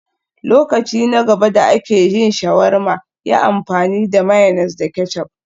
Lokaci na gaba da ake yin shawarma, yi amfani da mayonnaise da ketchup